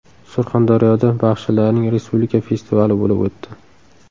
Surxondaryoda baxshilarning respublika festivali bo‘lib o‘tdi.